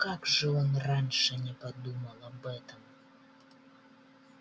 как же он раньше не подумал об этом